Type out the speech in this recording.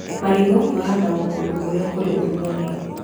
Marigũ mahandagwo kũndũ kũrĩa kũrĩ ũrugarĩ.